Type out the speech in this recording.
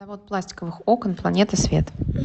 завод пластиковых окон планета свет